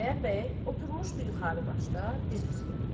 Xudayar bəy oturmuşdu yuxarı başda diz üstə.